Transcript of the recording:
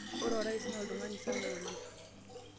ore orais naa oltung'ani sapuk lang'